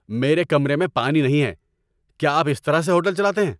میرے کمرے میں پانی نہیں ہے! کیا آپ اس طرح سے ہوٹل چلاتے ہیں؟